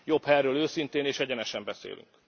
Jobb, ha erről őszintén és egyenesen beszélünk.